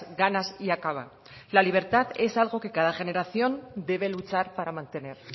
ganas y acaba la libertad es algo que cada generación debe luchar para mantener